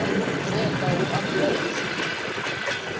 venḓa hu ambwa u pfi